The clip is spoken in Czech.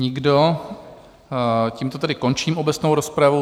Nikdo, tímto tedy končím obecnou rozpravu.